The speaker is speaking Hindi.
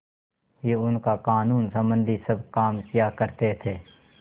ही उनका कानूनसम्बन्धी सब काम किया करते थे